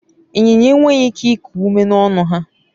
inyinya enweghi ike iku ume n'ọnu-ha